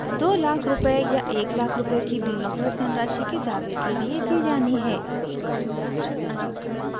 200000 रूपए या 100000 रूपए की बीमाकृत धनराशि के दावे के लिए दी जानी है